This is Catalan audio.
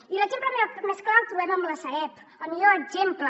i l’exemple més clar el trobem en la sareb el millor exemple